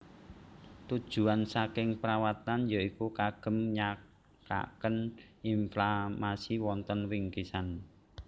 Tujuan saking perawatan ya iku kagem nyakaken inflamasi wonten wingkisan